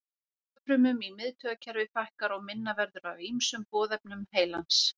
Taugafrumum í miðtaugakerfi fækkar og minna verður af ýmsum boðefnum heilans.